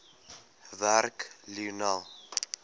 werk lionel